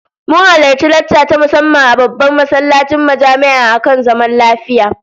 Mun halarci lacca ta musamman a babban masallacin jami'a akan zaman lafiya